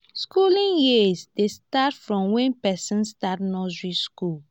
skooling years dey start from wen pesin start nursery skool.